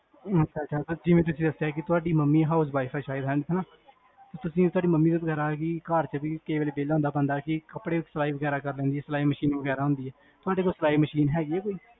ਤੁਸੀਂ ਦਸਿਆ ਕੀ ਤੁਹਾਡੀ mummyhouse wife ਆ ਸ਼ਾਇਦ, ਹੈਨਾ ਤੁਸੀਂ ਇਕਵਾਰ mummy ਵਗੇਰਾ, ਘਰ ਚ ਕਈ ਵਾਰ ਵੇਹਲਾ ਹੁੰਦਾ ਬੰਦਾ, ਕੀ ਕਪੜੇ ਸਲਾਈ ਵਗੇਰਾ ਸਲਾਈ ਮਸ਼ੀਨ ਵਗੈਰਾ ਹੁੰਦੀ ਹੈ ਕਿ ਤੁਹਾਡੇ ਕੋਲ ਕੋਈ ਸਲਾਈ ਮਸ਼ੀਨ ਹੈਗੀ ਕੋਈ